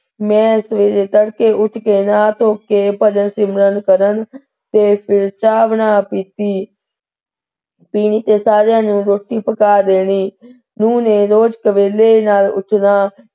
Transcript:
ਮੈਂ ਸਵੇਰੇ ਤੜਕੇ ਉੱਠ ਕੇ ਨਹਾ ਧੋ ਕੇ ਭਜਨ ਸਿਮਰਨ ਕਰਣ ਤੇ ਫਿਰ ਚਾ ਬਣਾ ਪੀਤੀ ਪੀਣੀ ਤੇ ਸਾਰੀਆਂ ਨੂੰ ਰੋਟੀ ਪਕਾ ਦੇਣੀ ਨੂੰਹ ਨੇ ਰੋਜ਼ ਨਾਲ ਉੱਠਣਾ,